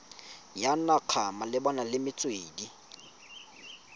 ya naga malebana le metswedi